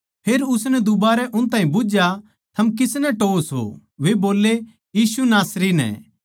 फेर उसनै दूबारै उन ताहीं बुझ्झया थम किसनै टोह्वो सो वे बोल्ले यीशु नासरी नै